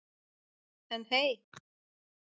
En hey.